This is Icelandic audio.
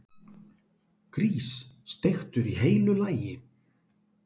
Grís, steiktur í heilu lagi!